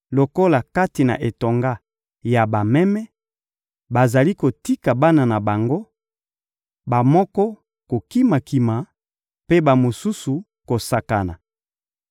Lokola kati na etonga ya bameme, bazali kotika bana na bango: bamoko kokima-kima, mpe bamosusu kosakana.